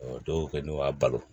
dɔw kɛ n'u y'a balo